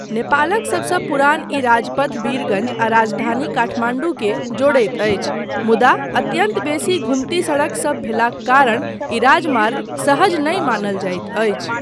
नेपालक सबसँ पुरान ई राजपथ वीरगञ्ज आ राजधानी काठमाण्डू के जोड़ैत अछि मुदा अत्यन्त बेसी घुम्ती सडकसब भेलाक कारण ई राजमार्ग सहज नहि मानल जाइत अछि।